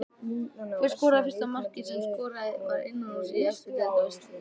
Hver skoraði fyrsta markið sem skorað var innanhúss í efstu deild á Íslandi?